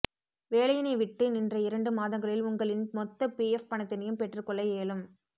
வேலையினைவிட்டு நின்ற இரண்டு மாதங்களில் உங்களின் மொத்த பிஎஃப் பணத்தினையும் பெற்றுக் கொள்ள இயலும்